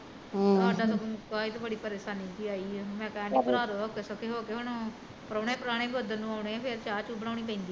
ਹਮ ਸਾਡਾ ਤੇ ਮੁਕਾ ਆ ਤੇ ਬੜੀ ਪਰੇਸ਼ਾਨੀ ਜਹੀ ਆਈ ਆ ਮੈਂ ਕਹਿਣ ਡਈ ਭਰਵਾਦੋ ਔਖੇ ਸੋਖੇ ਹੋ ਕੇ ਹੁਣ, ਪਰਾਉਣੇ ਪਰੁਨੇ ਵੀ ਉਦਣ ਨੂੰ ਆਉਣੇ ਆ ਫਿਰ ਚਾਹ ਚੁ ਬਣਾਉਣੀ ਪੈਂਦੀ ਆ